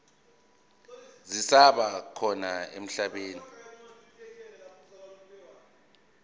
zisaba khona emhlabeni